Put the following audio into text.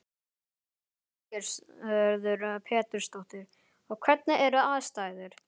Lillý Valgerður Pétursdóttir: Og hvernig eru aðstæður?